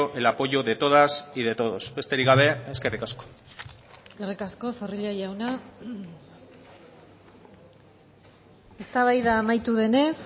el apoyo de todas y de todos besterik gabe eskerrik asko eskerrik asko zorrilla jauna eztabaida amaitu denez